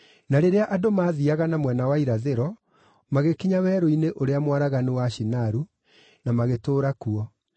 Na rĩrĩa andũ maathiiaga na mwena wa irathĩro, magĩkinya werũ-inĩ ũrĩa mwaraganu wa Shinaru, na magĩtũũra kuo.